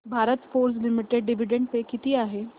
Bharat Forge Limited dividend pay किती आहे